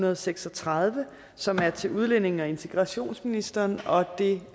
og seks og tredive som er til udlændinge og integrationsministeren og det